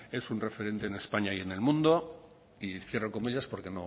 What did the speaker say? es un referente en españa y en el mundo y cierro comillas porque